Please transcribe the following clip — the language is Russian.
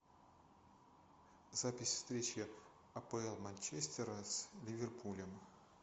запись встречи апл манчестера с ливерпулем